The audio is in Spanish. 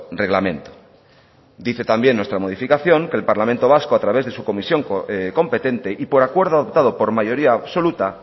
reglamento dice también nuestra modificación que el parlamento vasco a través de su comisión competente y por acuerdo adoptado por mayoría absoluta